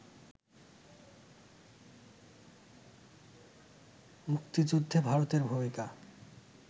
মুক্তিযুদ্ধে ভারতের ভূমিকা